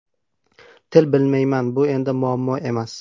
Til bilmayman Bu endi muammo emas.